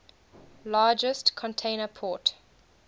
largest container port